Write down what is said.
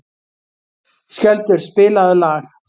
Skjöldur, spilaðu lag.